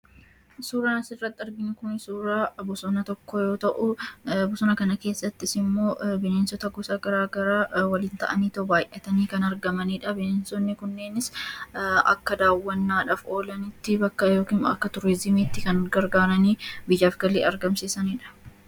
Suuraan as irratti arginu suuraa Bosona tokkoo yoo ta'u Bosona kana keessattis immoo bineensota gara garaa waliin ta'ani baay'atani kan argamanidha. Bineensonni kunneenis akka dawwanadhaaf olaannitti yookiis moo akka Turiziimitti kan gargaran biyyaaf galii argamsiisanidha.